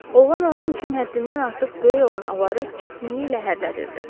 Oğlan onun üçün həddindən artıq böyük olan avarı çətinliklə hərlədirdi.